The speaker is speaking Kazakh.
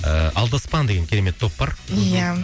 ыыы алдаспан деген керемет топ бар иә